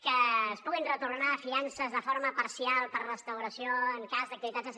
que es puguin retornar fiances de forma parcial per restauració en cas d’activitats